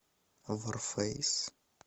варфейс